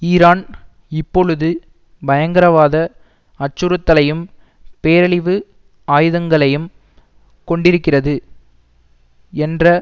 Iran இப்பொழுது பயங்கரவாத அச்சுறுத்தலையும் பேரழிவு ஆயுதங்களையும் கொண்டிருக்கிறது என்ற